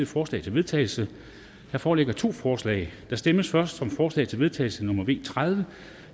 forslag til vedtagelse der foreligger to forslag der stemmes først om forslag til vedtagelse nummer v tredive